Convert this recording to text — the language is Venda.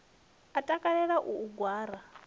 a takalela u u gwara